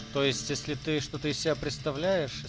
то есть если ты что-то из себя представляет